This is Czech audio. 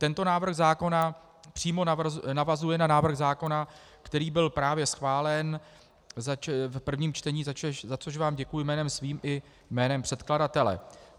Tento návrh zákona přímo navazuje na návrh zákona, který byl právě schválen v prvním čtení, za což vám děkuji jménem svým i jménem předkladatele.